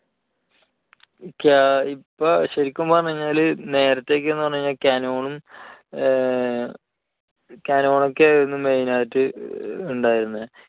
ക്യാ~ഇപ്പോൾ ശരിക്കും പറഞ്ഞുകഴിഞ്ഞാൽ നേരത്തെ ഒക്കെ എന്ന് പറഞ്ഞു കഴിഞ്ഞാൽ canon ഉം canon ഒക്കെ ആയിരുന്നു main ആയിട്ട് ഉണ്ടായിരുന്നത്.